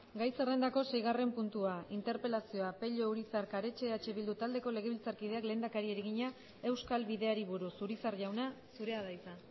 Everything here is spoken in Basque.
gai zerrendako seigarren puntua interpelazioa pello urizar karetxe eh bildu taldeko legebiltzarkideak lehendakariari egina euskal bideari buruz urizar jauna zurea da hitza